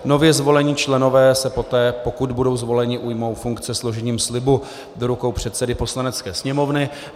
Nově zvolení členové se poté, pokud budou zvoleni, ujmou funkce složením slibu do rukou předsedy Poslanecké sněmovny.